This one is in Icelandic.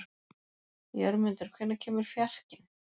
Jörmundur, hvenær kemur fjarkinn?